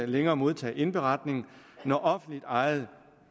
længere modtage indberetning når offentligt ejede